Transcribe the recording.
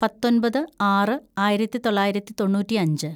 പത്തൊമ്പത് ആറ് ആയിരത്തിതൊള്ളായിരത്തി തൊണ്ണൂറ്റിയഞ്ച്‌